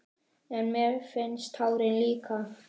En ég minnist táranna líka.